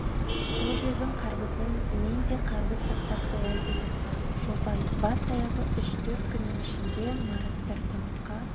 сол жердің қарбызынан мен де қарбыз сақтап қоям деді шолпан бас-аяғы үш-төрт күннің ішінде мараттар тауыққа